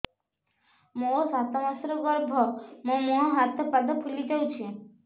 ମୋ ସାତ ମାସର ଗର୍ଭ ମୋ ମୁହଁ ହାତ ପାଦ ଫୁଲି ଯାଉଛି